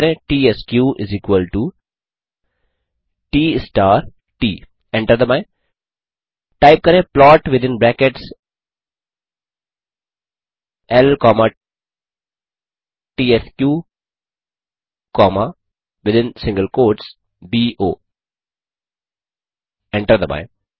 type करें त्स्क ट स्टार ट एंटर दबाएँ टाइप करें प्लॉट विथिन ब्रैकेट्स ल कॉमा त्स्क कॉमा विथिन सिंगल क्वोट्स बो एंटर दबाएँ